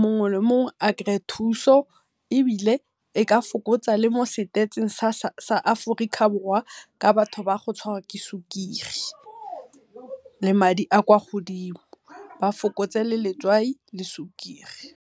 mongwe le mongwe a kry-e thuso ebile e ka fokotsa le mo stats sa Aforika Borwa, ka batho ba go tshwarwa ke sukiri le madi a kwa go dimo ba fokotse le letswai le sukiri.